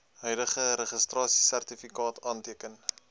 huidige registrasiesertifikaat afteken